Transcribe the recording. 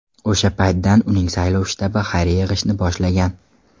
O‘sha paytdan uning saylov shtabi xayriya yig‘ishni boshlagan.